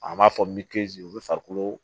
A b'a fɔ min te yen olu farikolo